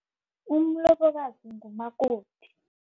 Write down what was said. Umlobokazi ngumakoti.